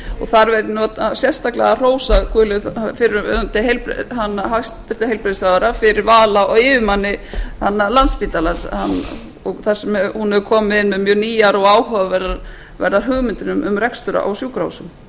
þar verð ég sérstaklega að hrósa fyrrverandi hæstvirtum heilbrigðisráðherra fyrir val á yfirmanni landspítalans þar sem hún hefur komið inn með mjög nýjar og áhugaverðar hugmyndir um rekstur á sjúkrahúsum